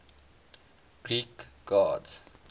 greek gods